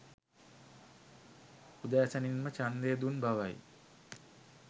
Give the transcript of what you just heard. උදෑසනින්ම ඡන්දය දුන් බවයි